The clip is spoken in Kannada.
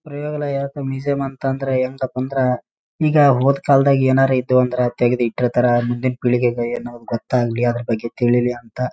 ಪ್ರಯೋಗಾಲಯ ಅಥವಾ ಮ್ಯೂಸಿಯಂ ಅಂತಂದ್ರ ಏನುಂತ ಕುಂದ್ರೆ ಈಗ ಹೋದ್‌ ಕಾಲದಾಗೆ ಏನಾರ ಇದ್ದು ಅಂದ್ರೆ ಅದ್ರ ತೆಗೆದು ಇಟ್ಟ್ರೆ ತರ ಮುಂದಿನ ಪೀಳಿಗೆಗೆ ಏನೋ ಗೊತ್ತಾಗಲಿ ಅದರ ಬಗ್ಗೆ ತಿಳೀಲಿ ಅಂತ.